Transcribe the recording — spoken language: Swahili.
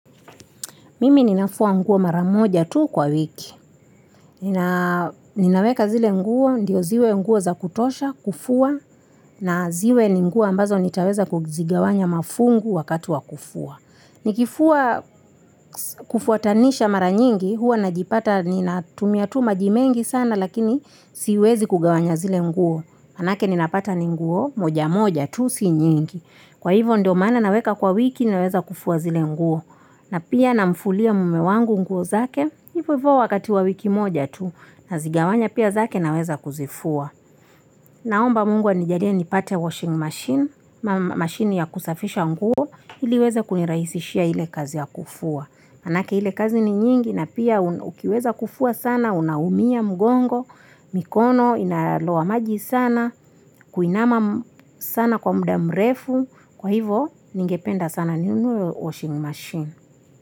Mimi ninafua nguo mara moja tu kwa wiki ninaweka zile nguo, ndio ziwe nguo za kutosha, kufua na ziwe ni nguo ambazo nitaweza kuzigawanya mafungu wakati wa kufua nikifua kufuatanisha mara nyingi huwa najipata ninatumia tu maji mengi sana lakini siwezi kugawanya zile nguo manake ninapata ni nguo moja moja tu si nyingi kwa hivyo ndio maana naweka kwa wiki naweza kufua zile nguo na pia namfulia mume wangu nguo zake hivo hivo wakati wa wiki moja tu nazigawanya pia zake naweza kuzifua naomba mungu anijalie nipate washing machine, mashine ya kusafisha nguo ili iweze kunirahisishia ile kazi ya kufua manake ile kazi ni nyingi na pia ukiweza kufua sana, unaumia, mgongo mikono, inaloa maji sana kuinama sana kwa muda mrefu kwa hivyo, ningependa sana ninunue washing machine.